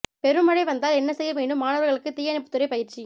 பெரும் மழை வந்தால் என்ன செய்ய வேண்டும் மாணவர்களுக்கு தீயணைப்புத்துறை பயிற்சி